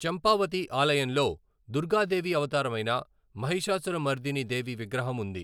చంపావతి ఆలయంలో దుర్గాదేవి అవతారమైన మహిషాసురమర్దిని దేవి విగ్రహం ఉంది.